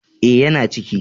E, yana ciki.